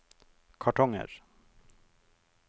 kartonger